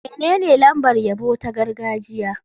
Menene lambar yabo ta gargajiya?